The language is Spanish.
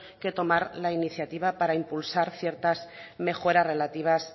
que tomar la iniciativa para impulsar ciertas mejoras relativas